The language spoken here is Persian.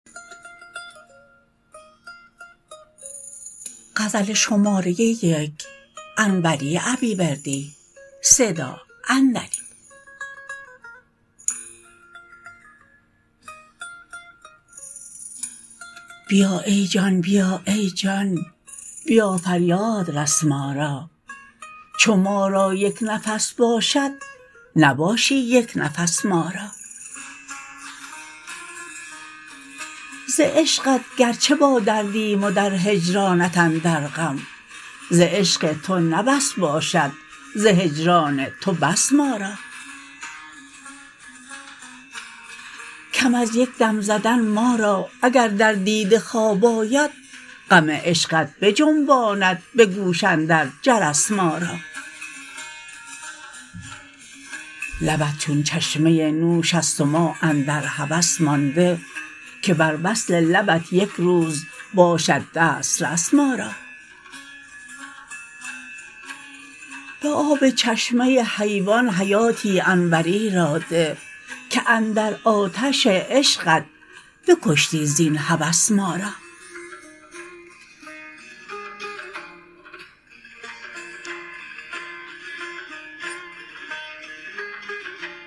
بیا ای جان بیا ای جان بیا فریاد رس ما را چو ما را یک نفس باشد نباشی یک نفس ما را ز عشقت گرچه با دردیم و در هجرانت اندر غم ز عشق تو نه بس باشد ز هجران تو بس ما را کم از یک دم زدن ما را اگر در دیده خواب آید غم عشقت بجنباند به گوش اندر جرس ما را لبت چون چشمه نوش است و ما اندر هوس مانده که بر وصل لبت یک روز باشد دست رس ما را به آب چشمه حیوان حیاتی انوری را ده که اندر آتش عشقت بکشتی زین هوس ما را